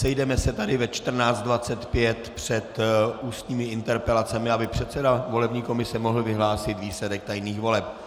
Sejdeme se tady ve 14.25 před ústními interpelacemi, aby předseda volební komise mohl vyhlásit výsledek tajných voleb.